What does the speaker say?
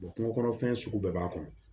kungo kɔnɔfɛn sugu bɛɛ b'a kɔnɔ